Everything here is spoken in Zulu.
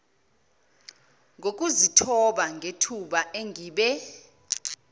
ngokuzithoba ngethuba engibe